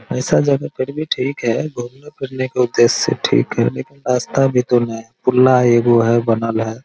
ऐसा जगह फिर भी ठीक हेय घूमने-फिरने के उद्देश्य से ठीक हेय लेकिन रास्ता भी तो ने हेय पुल्ला एगो हेय बनल हेय।